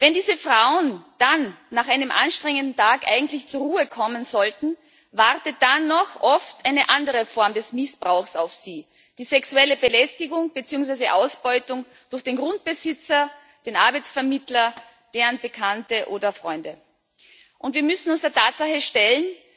Wenn diese Frauen dann nach einem anstrengenden Tag eigentlich zur Ruhe kommen sollten, wartet dann noch oft eine andere Form des Missbrauchs auf sie die sexuelle Belästigung beziehungsweise Ausbeutung durch den Grundbesitzer, den Arbeitsvermittler, deren Bekannte oder Freunde. Wir müssen uns der Tatsache stellen